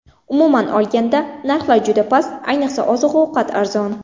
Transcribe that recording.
Umuman olganda, narxlar juda past, ayniqsa oziq-ovqat arzon.